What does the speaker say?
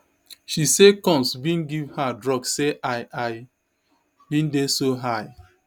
she say combs bin give her drugs say i i bin dey so high